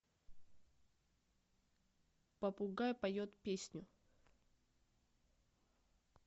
попугай поет песню